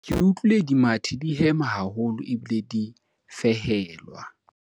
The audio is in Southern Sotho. ke utlwile dimathi di hema haholo ebile di fehelwa